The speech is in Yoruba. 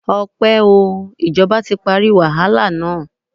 Ọpẹ́ o. Ìjọba ti parí wàhálà na.